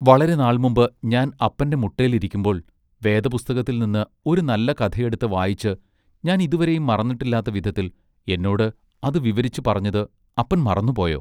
വളരെ നാൾ മുമ്പ് ഞാൻ അപ്പന്റെ മുട്ടേൽ ഇരിക്കുമ്പോൾ വേദപുസ്തകത്തിൽ നിന്ന് ഒരു നല്ല കഥയെടുത്ത് വായിച്ച് ഞാൻ ഇതുവരെയും മറന്നിട്ടില്ലാത്ത വിധത്തിൽ എന്നോട് അത് വിവരിച്ച് പറഞ്ഞത് അപ്പൻ മറന്നുപ്പോയൊ?